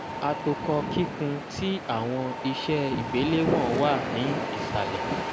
atokọ kikun ti awọn iṣe igbelewọn wa ni isalẹ.